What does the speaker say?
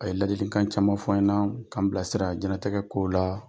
A ye ladilikan caman fɔ n ɲɛ na k'an bilasira jiyɛn latigɛ kow la.